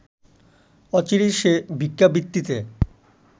অচিরেই সে ভিক্ষাবৃত্তিতে